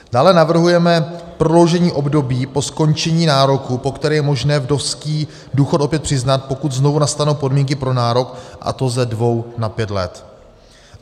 Dále navrhujeme prodloužení období po skončení nároku, po které je možné vdovský důchod opět přiznat, pokud znovu nastanou podmínky pro nárok, a to ze dvou na pět let.